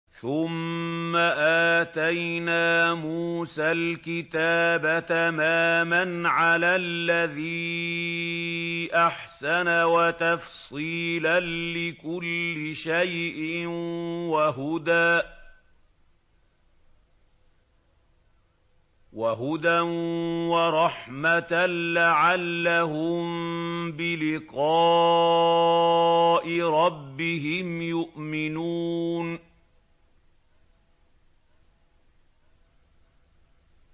ثُمَّ آتَيْنَا مُوسَى الْكِتَابَ تَمَامًا عَلَى الَّذِي أَحْسَنَ وَتَفْصِيلًا لِّكُلِّ شَيْءٍ وَهُدًى وَرَحْمَةً لَّعَلَّهُم بِلِقَاءِ رَبِّهِمْ يُؤْمِنُونَ